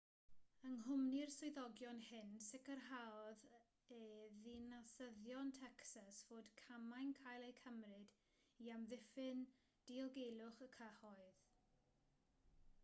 yng nghwmni'r swyddogion hyn sicrhaodd e ddinasyddion tecsas fod camau'n cael eu cymryd i amddiffyn diogelwch y cyhoedd